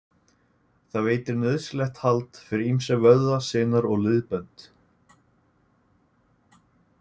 Það veitir nauðsynlegt hald fyrir ýmsa vöðva, sinar og liðbönd.